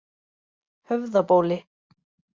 Höfðabóli